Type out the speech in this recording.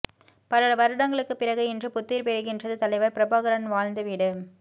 பல வருடங்களுக்குப் பிறகு இன்று புத்துயிர் பெறுகின்றது தலைவர் பிரபாகரன் வாழ்ந்த வீடு